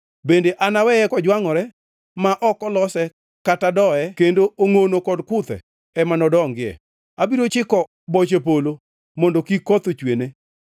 Bende anaweye kojwangʼore ma ok olose kata doye kendo ongʼono, kod kuthe ema nodongie. Abiro chiko boche polo mondo kik koth ochwene.”